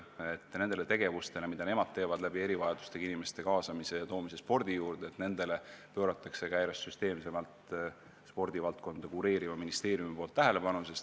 Loodan, et sellele tööle, mida nemad teevad, tuues erivajadustega inimesi spordi juurde, pööratakse järjest süsteemsemalt spordivaldkonda kureerivas ministeeriumis väärilist tähelepanu.